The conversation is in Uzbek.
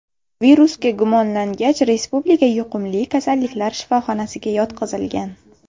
Virusga gumonlangach, Respublika yuqumli kasalliklar shifoxonasiga yotqizilgan.